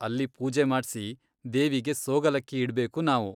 ಅಲ್ಲಿ ಪೂಜೆ ಮಾಡ್ಸಿ, ದೇವಿಗೆ ಸೋಗಲಕ್ಕಿ ಇಡ್ಬೇಕು ನಾವು.